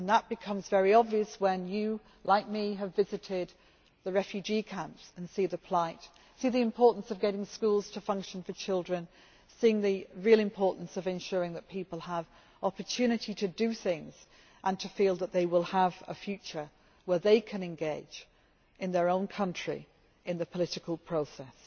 This becomes very obvious when you, like me, have visited the refugee camps and seen people's plight and the importance of getting schools to function for children, and the real importance of ensuring that people have the opportunity to do things and to feel that they will have a future where they can engage, in their own country, in the political process.